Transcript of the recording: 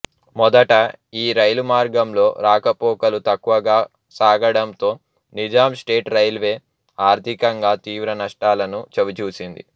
మొదట ఈ రైలు మార్గంలో రాకపోకలు తక్కువగా సాగడంతో నిజాం స్టేట్ రైల్వే ఆర్థికంగా తీవ్ర నష్టాలను చవిచూసింది